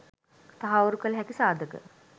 තහවුරු කළ හැකි සාධක